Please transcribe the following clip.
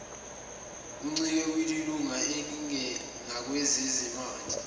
uncike kwilunga ngakwezezimali